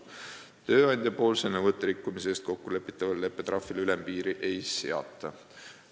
Kui tööandja on nõudeid rikkunud, siis kokkulepitavale leppetrahvile ülempiiri ei seata.